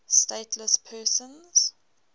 stateless persons